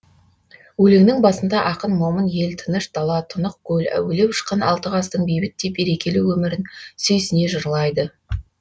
өлеңнің басында ақын момын ел тыныш дала тұнық көл әуелеп ұшқан алты қаздың бейбіт те берекелі өмірін сүйсіне жырлайды